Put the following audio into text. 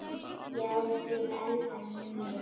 Já, ég elda mjög mikið.